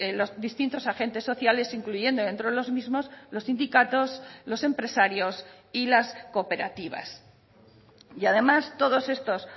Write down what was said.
los distintos agentes sociales incluyendo dentro de los mismos los sindicatos los empresarios y las cooperativas y además todos estos